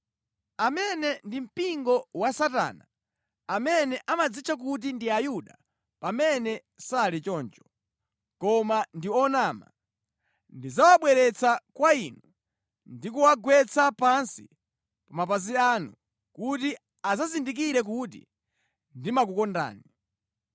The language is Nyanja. Amene ndi mpingo wa Satana, amene amadzitcha kuti ndi Ayuda pamene sali choncho, koma ndi onama, ndidzawabweretsa kwa inu ndi kuwagwetsa pansi pa mapazi anu kuti adzazindikire kuti ndimakukondani.